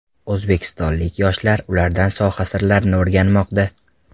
O‘zbekistonlik yoshlar ulardan soha sirlarini o‘rganmoqda.